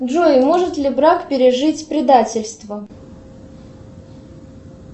джой может ли брак пережить предательство